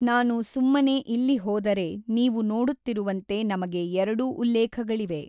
ನಾನು ಸುಮ್ಮನೆ ಇಲ್ಲಿ ಹೋದರೆ ನೀವು ನೋಡುತ್ತಿರುವಂತೆ ನಮಗೆ ಎರಡೂ ಊಲ್ಲೇಖಗಳಿವೆ.